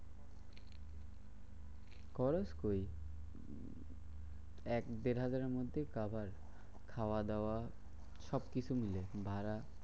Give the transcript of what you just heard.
খরচ কৈ? এক দেড় হাজারের মধ্যেই কাবার। খাওয়াদাওয়া সবকিছু মিলে ভাড়া।